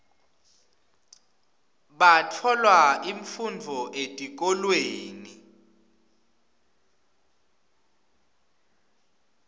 batfola imfundvo etikolweni